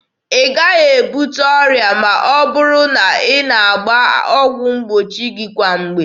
Ị gaghị ebute ọrịa ma ọ bụrụ na ị na-agba ọgwụ mgbochi gị kwa mgbe.